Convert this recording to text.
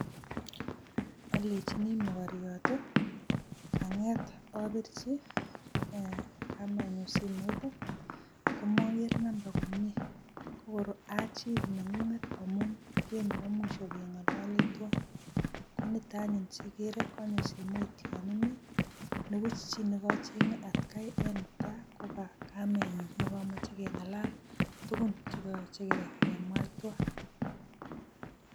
Olenjini mogoryot, kang'et obirji kamenyun simoit komoger number komyee, kogor achil neng'ung amun ke nebo mwisho keng'ololi twan. Ko nito anyun asiigere konyo simoit yon imii, nebuch chi negocheng'e atkai en netai kogakamenyun negomoche keng'alal tugun che koyoche kemwa twan.